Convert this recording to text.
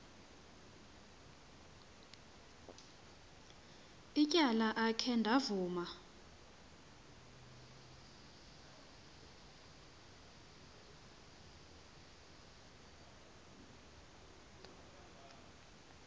ityala akhe ndavuma